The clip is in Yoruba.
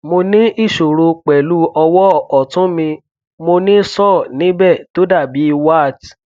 mo ní ìṣòro pẹlú ọwọ ọtún mi mo ní sore níbẹ tó dàbí wart